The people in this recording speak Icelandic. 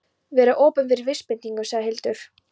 Vera opin fyrir vísbendingum, sagði Hildur.